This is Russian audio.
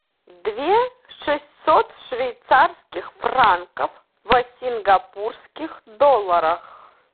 две шестьсот швейцарских франков в сингапурских долларах